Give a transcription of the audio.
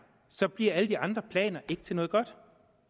bliver alle de andre planer ikke til noget godt